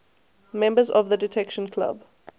members of the detection club